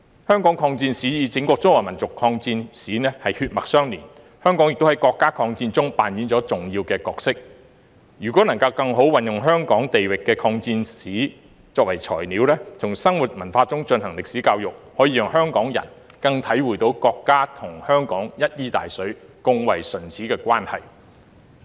香港抗戰史與整個中華民族抗戰史血脈相連，香港亦在國家抗戰中扮演重要的角色，如果能更好地運用香港地域的抗戰史作為材料，從生活文化中進行歷史教育，可讓香港人更能體會國家與香港一衣帶水、共為唇齒的關係。